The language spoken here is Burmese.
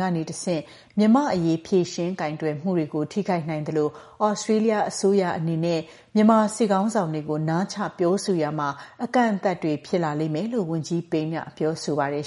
ကနေတဆင့် မြန်မာ့အရေး ဖြေရှင်းကိုင်တွယ်မှုတွေကို ထိခိုက်နိုင်သလို သြစတြေးလျအစိုးရအနေနဲ့ မြန်မာစစ်ခေါင်းဆောင်တွေကို နားချ ပြောဆိုရာမှာ အကန့်အသတ်တွေ ဖြစ်လာလိမ့်မယ်လို့ ဝန်ကြီး Payne က ပြောပါတယ်။